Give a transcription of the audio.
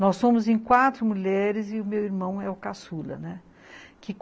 Nós somos em quatro mulheres e o meu irmão é o caçula, né.